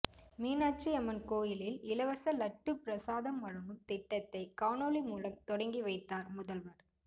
மீனாட்சி அம்மன் கோயிலில் இலவச லட்டு பிரசாதம் வழங்கும் திட்டத்தை காணொலி மூலம் தொடங்கி வைத்தார் முதல்வர்